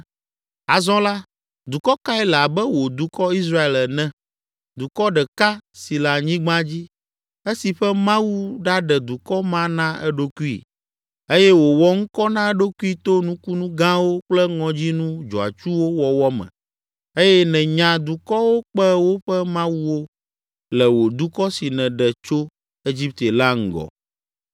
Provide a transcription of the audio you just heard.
Azɔ la, dukɔ kae le abe wò dukɔ, Israel ene, dukɔ ɖeka si le anyigba dzi, esi ƒe Mawu ɖaɖe dukɔ ma na eɖokui? Eye wòwɔ ŋkɔ na eɖokui to nukunu gãwo kple ŋɔdzinu dzɔatsuwo wɔwɔ me eye nènya dukɔwo kpe woƒe mawuwo le wò dukɔ si nèɖe tso Egipte la ŋgɔ.